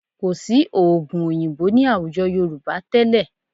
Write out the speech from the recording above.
Kò sí oògùn òyìnbó ní àwùjọ Yorùbá tẹ́lẹ̀